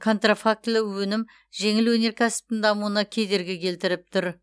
контрафактілі өнім жеңіл өнеркәсіптің дамуына кедергі келтіріп тұр